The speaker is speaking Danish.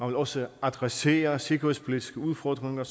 vil også adressere sikkerhedspolitiske udfordringer